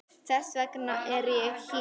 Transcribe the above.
Þess vegna er ég hér.